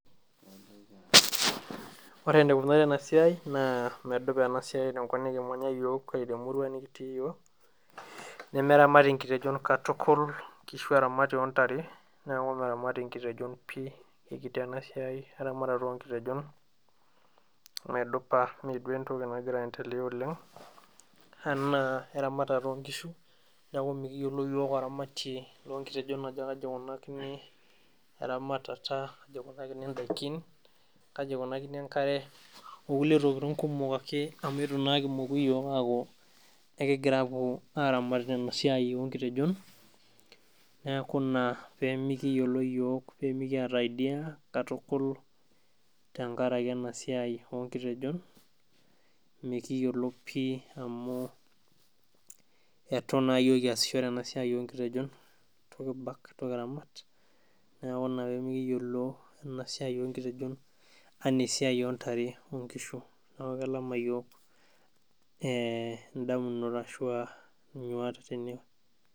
ore enikunari ena siai naa medupa tenkop nikimanya iyiok, ore temurua nikitii iyiok nemeramati inkitejon katukul, tukul inkishu eramati oontare, neeku meramati inkitejon pii ikiti ena siai tenkopang, neeku mikiyiolo iyiok oramatie loo ikitejon ajo kaji ikunakini eramatata, kaji ikunakini idaikin, kaji ikunakini enkare, okulie tokitin kumok ake amu etu naa iyiok kimoku aaku aramat esiai oo ikitejon neeeku mikiyiolo pii amu etu naa iyiok kiyas enasiai oo inkitejon enaa enoo inkishu neeku kelamita iyiok oleng'.